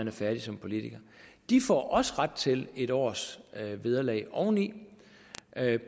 er færdige som politikere får også ret til en års vederlag oveni